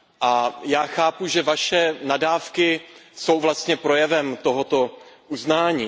A já chápu, že vaše nadávky jsou vlastně projevem tohoto uznání.